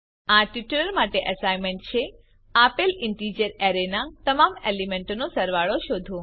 આ ટ્યુટોરીયલ માટે એસાઈનમેન્ટ છે આપેલ ઇન્ટિજર અરેના તમામ એલીમેન્ટોનો સરવાળો શોધો